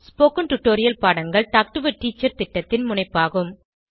spoken tutorial பாடங்கள் talk to a teacher திட்டத்தின் முனைப்பாகும்